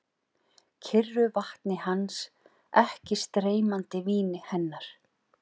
Kyrru vatni hans, ekki streymandi víni hennar.